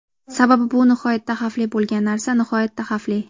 Sababi bu nihoyatda xavfli bo‘lgan narsa, nihoyatda xavfli.